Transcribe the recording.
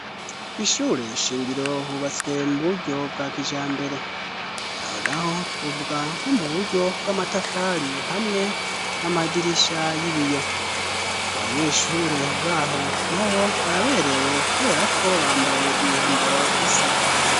kw' ishure shingiro hubatswe mu buryo bwa kija mbere aho naho twovuga nko mu buryo bw'amatafari hamwe n'amadirisha y'ibiyo abanyeshure baho nabo baberewe kubera ko bambaye imyambaro isa